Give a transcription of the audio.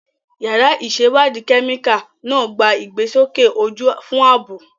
Yàrá ìṣèwádìí kẹ́míkà náà gba ìgbésókè ojú fún ààbò.